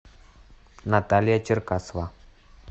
наталья черкасова